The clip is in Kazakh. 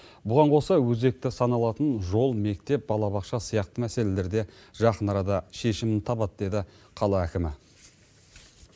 бұған қоса өзекті саналатын жол мектеп балабақша сияқты мәселелер де жақын арада шешімін табады деді қала әкімі